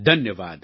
ધન્યવાદ